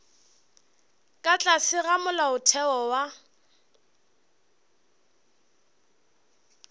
ka tlase ga molaotheo wa